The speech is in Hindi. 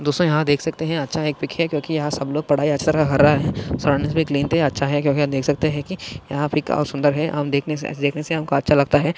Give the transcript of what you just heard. दोस्तों यहा देख सकते है अच्छा एक पीक है यहा सब लोग पढ़ाई अक्षर पद रहे है क्लीन है आप देख सकते है की यहा पे काफी सुंदर है हम देखने से ऐसे देखने से हमे अच्छा लगता है।